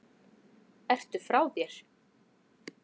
Ertu frá þér??